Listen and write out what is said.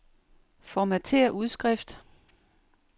Formatér udskrift.